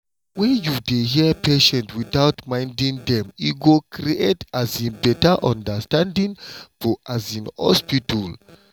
when you dey hear patients without minding dem e go create um better understanding for um hospital.